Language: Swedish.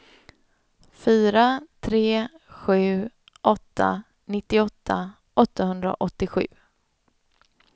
fyra tre sju åtta nittioåtta åttahundraåttiosju